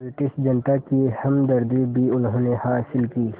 British जनता की हमदर्दी भी उन्होंने हासिल की